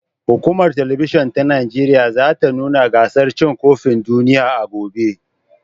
Hukumar Talabijin ta Najeriya (NTA) za ta nuna gasar cin kofin duniya a gobe.